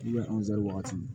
anzɛri waati